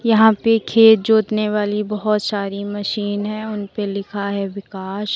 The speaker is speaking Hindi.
यहां पे खेत जोतने वाली बहोत सारी मशीन हैं उन पे लिखा है विकास।